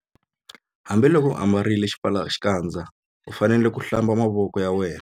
Hambiloko u ambarile xipfalaxikandza u fanele ku- Hlamba mavoko ya.